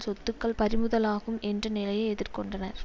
சொத்துக்கள் பறிமுதலாகும் என்ற நிலையை எதிர்கொண்டனர்